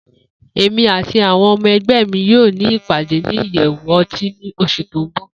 Emi ati awọn ọmọ ẹgbẹ mi yoo ni ipade ni iyẹwu ọti ni oṣu ti n bọ.